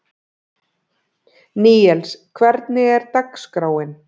Níels, hvernig er dagskráin?